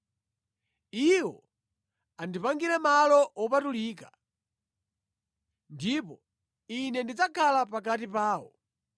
“Iwo andipangire malo wopatulika, ndipo Ine ndidzakhala pakati pawo.